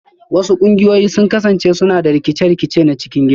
Wasu ƙungiyoyi sun kasance suna da rikice-rikice na cikin gida